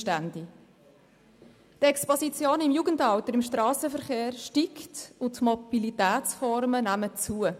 Die Exposition im Jugendalter im Strassenverkehr steigt, und die Mobilitätsformen nehmen zu.